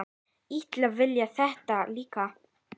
Ítalir vilja þetta líka.